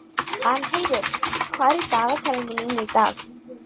Arnheiður, hvað er í dagatalinu mínu í dag?